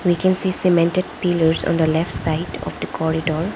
we can see cemented pillars on the left side of the corridor.